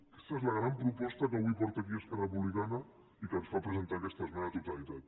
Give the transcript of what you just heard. aquesta és la gran proposta que avui porta aquí esquerra republicana i que ens fa presentar aquesta esmena a la totalitat